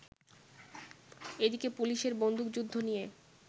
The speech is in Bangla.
এদিকে পুলিশের বন্দুকযুদ্ধ নিয়ে